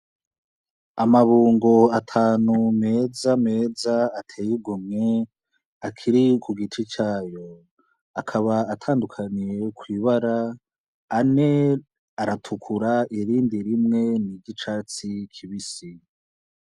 Amabungo atanu mezameza ateye igomwe akiri ku giti cayo akaba atandukaniye ku ibara ane aratukura irindi rimwe ni ry'icatsi kibisi. s